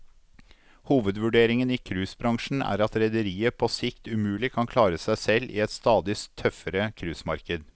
Hovedvurderingen i cruisebransjen er at rederiet på sikt umulig kan klare seg selv i et stadig tøffere cruisemarked.